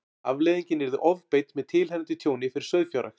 Afleiðingin yrði ofbeit með tilheyrandi tjóni fyrir sauðfjárrækt.